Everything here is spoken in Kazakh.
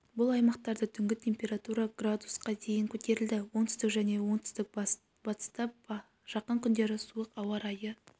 бұл аймақтарда түнгі температура градусқа дейін көтерілді оңтүстік және оңтүстік-бастыста жақын күндері суық ауа райы